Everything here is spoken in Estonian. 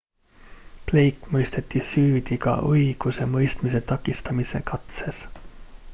blake mõisteti süüdi ka õigusemõistmise takistamise katses